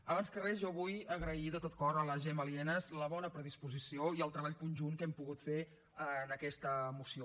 abans que res jo vull agrair de tot cor a la gemma lienas la bona predisposició i el treball conjunt que hem pogut fer en aquesta moció